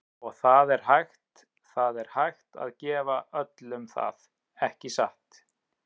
Og það er hægt, það er hægt að gefa öllum það, ekki satt?